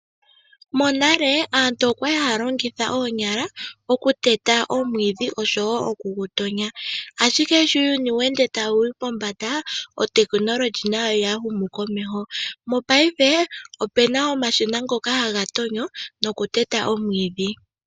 Monale aantu okwa li haya longitha oonyala okuteta omwiidhi oshowo oku gutonya. Ashike sho uuyuni sho weende tawu yi pombanda otekinolohi nayo oya humu komeho. Mongashingeyi opuna omashina ngoka haga tonyo nokuteta omwiidhi.